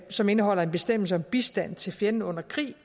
som indeholder en bestemmelse om bistand til fjenden under krig